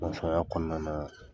kɔnɔna na